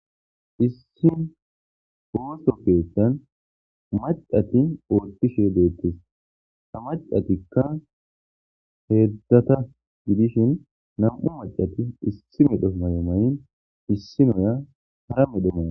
Issi oso ketha macati othishe dettes ha macatika hezhzhata gidishin nam'u machati issi medho mayo mayin issiniya hara medho